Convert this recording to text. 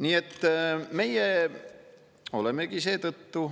Nii et meie olemegi seetõttu,